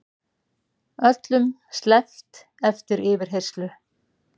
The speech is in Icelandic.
Öllum sleppt eftir yfirheyrslu